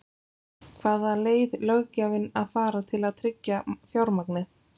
Hvaða leið löggjafinn að fara til að tryggja fjármagnið?